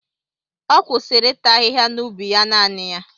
Ọ kwụsịrị ịta ahịhịa n'ubi ya naanị ya.